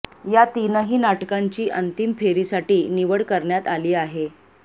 या तीनही नाटकांची अंतिम फेरीसाठी निवड करण्यात आली आहे